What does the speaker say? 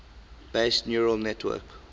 based neural network